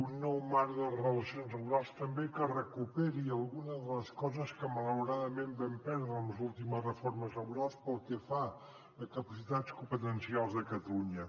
un nou marc de relacions laborals també que recuperi alguna de les coses que malauradament vam perdre amb les últimes reformes laborals pel que fa a capacitats competencials de catalunya